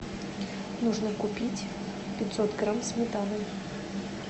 нужно купить пятьсот грамм сметаны